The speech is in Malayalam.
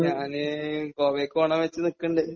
ഞാൻ ഗോവക്ക് പോകാം എന്ന് വിചാരിച്ച് നിൽക്കുന്നുണ്ട്.